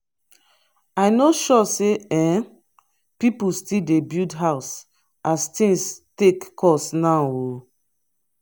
i no sure sey um pipu still dey build house as tins take cost now o.